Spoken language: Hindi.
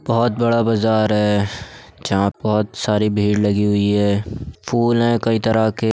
बहुत बड़ा बाजार है जहाँ बहुत सारी भीड़ लगी हुई है फूल है कईं तरह के --